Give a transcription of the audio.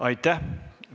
Aitäh!